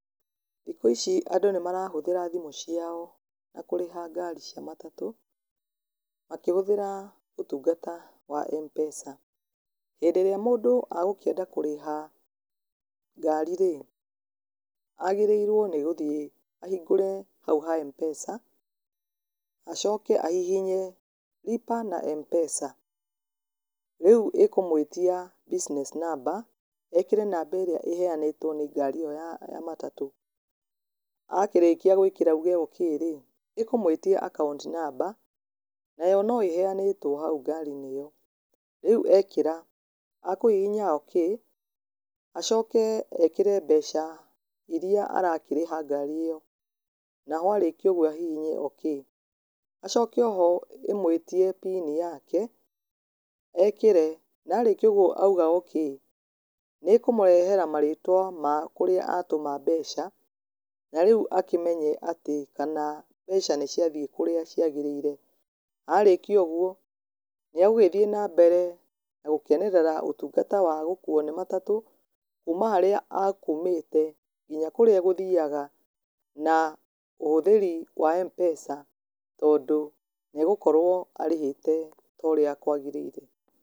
Thikũ ici andũ nĩmarahũthĩra thimũ ciao na kũrĩha ngari cia matatũ makĩhũthĩra ũtungata wa M-pesa. Hĩndĩ ĩrĩa mũndũ agũkĩenda kũrĩha ngari rĩ, agĩrĩirwo nĩ gũthiĩ ahingũre hau ha M-pesa, acoke ahihinye Lipa na M-pesa, rĩu ĩkũmũĩtia business namber ekĩre namba ĩrĩa ĩheyanĩtwo nĩ ngari ĩyo ya matatũ, akĩrĩkia gwĩkĩra auge okĩrĩ, ĩkũmũĩtia account number nayo no ĩheyanĩtwo hau ngarinĩ ĩyo. Rĩu ekĩra ekũhihinya okey acoke ekĩre mbeca iria arakĩrĩha ngari ĩyo naho arĩkia ũguo ahihinye okey, acoke oho ĩmwĩtie pini yake na arĩkia ũguo auge okey nĩkũmũrehera marĩtwa ma kũrĩa atũma mbeca na rĩu akĩmenye kana mbeca nĩciathiĩ kũrĩa ciagĩrĩire. Arĩkia ũguo nĩ agũthiĩ na mbere na gũkenerera ũtungata wa gũkuo nĩ matatũ kuma harĩa akumĩte nginya kũrĩa agũthiyaga na ũhũthĩri wa M-pesa tondũ nĩegũkorwo arĩhĩte ũrĩa kwagĩrĩie.